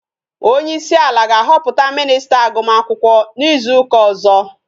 Onyeisi ala ga-ahọpụta minista agụm akwụkwọ n'izu ụka ọzọ